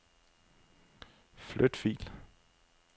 Flyt fil.